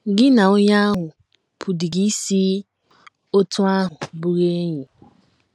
Gị na onye ahụ pụdịrị isi otú ahụ bụrụ enyi!!